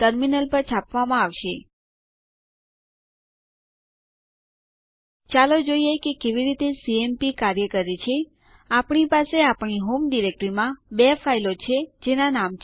terminal પર આ type કરી હોમ ફોલ્ડર ઉપર જાઓ